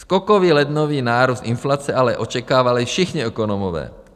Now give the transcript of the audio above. Skokový lednový nárůst inflace ale očekávali všichni ekonomové.